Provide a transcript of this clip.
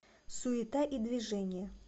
суета и движение